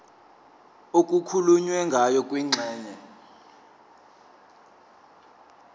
okukhulunywe ngayo kwingxenye